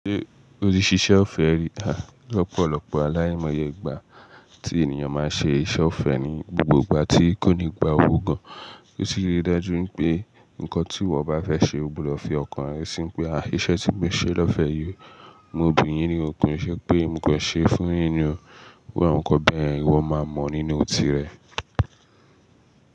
Ṣé o tí ṣíṣe ọ̀fẹ́ rí? À lọ́pọ̀lọ́pọ̀ aláimọye ìgbà tí ènìyàn máa ṣe iṣẹ́ ọ̀fẹ́ ni. Ǹbó gbogbo ìgbà tí kò ní gba owó gan. Ó sì rí daju pé nǹkan tí ìwọ bá fẹ́ ṣe, ó gbúdọ̀ fi ọkàn rẹ sí i pé, àìṣe tí mo ṣe lọ́fẹ̀ẹ́ yìí, mo ò bun yin ní ò kin. Ṣé pé mo kan ṣe fún yín ni o. Iru àwọn nǹkan bẹ́ẹ̀, ìwọ máa mọ̀ nínú òtí rẹ.